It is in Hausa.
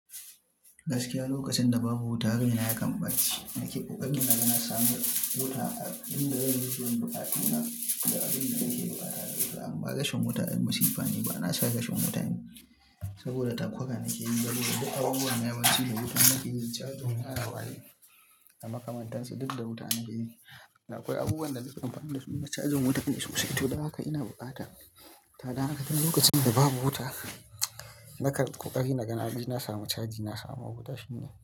Gaskiya lokacinda babu wuta raina yakan ɓaci. Nake ƙoƙarin na samo wuta a inda zanyi biyan buƙatuna da abinda nakeyi ba tareda itaba. Amma rashin wuta ai masifane banasan rashin wutani saboda takura nakeyi. Saboda duk abubuwan yawanci da wuta nakeyi. Charging waya waye da makamantansu dukda wuta nakeyi. Akwai abubuwanda nake amfani dasu ina charging wutane sosai. To don haka ina bukata. To dan haka duk lokacinda babu wuta nakan ƙoƙari naga naje na samu charging na samu wuta shine.